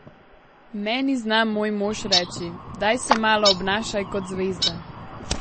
Meni zna moj mož reči: "Daj se malo obnašaj kot zvezda".